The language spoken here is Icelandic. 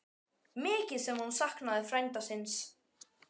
Mikið sem hún saknaði frænda síns.